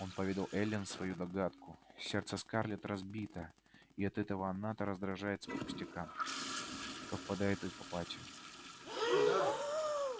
он поведал эллин свою догадку сердце скарлетт разбито и от этого она то раздражается по пустякам то впадает в апатию